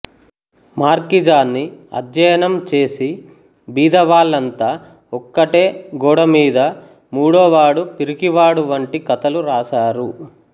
మార్కిజాన్నిఅధ్యనం చేసి బీదవాళ్ళాంతా ఒక్కటే గోడమీద మూడోవాడు పిరికివాడు వంటి కథలు రాసారు